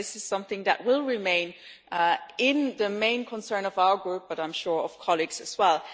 This is something that will remain as the main concern of our group, but I am sure for other colleagues as well.